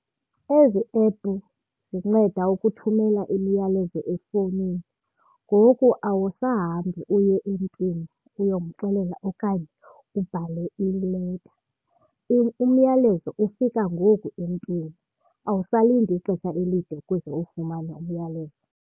Ezi epu zinceda ukuthumela imiyalezo efowunini, ngoku awusahambi uye emntwini uyomxelela okanye ubhale ileta. Umyalezo ufika ngoku emntwini, awusalindi ixesha elide ukuze uwufumane umyalezo.